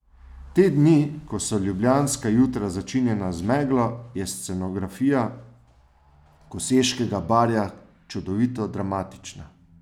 Te dni, ko so ljubljanska jutra začinjena z meglo, je scenografija Koseškega barja čudovito dramatična.